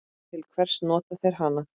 Til hvers nota þeir hana?